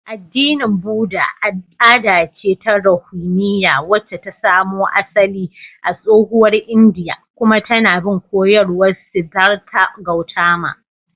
Addinin Buddha al'ada ce ta ruhaniya wacce ta samo asali a tsohuwar Indiya kuma tAna bin koyarwar Siddhartha Gautama